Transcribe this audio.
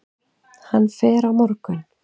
Hann fer á morgun.